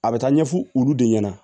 A bɛ taa ɲɛfɔ olu de ɲɛna